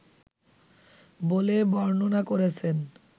বলে বর্ণনা করেছেন